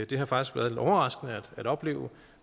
det har faktisk været lidt overraskende at opleve